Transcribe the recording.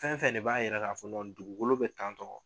Fɛn fɛn de b'a yira k'a fɔ dugukolo bɛ tantɔ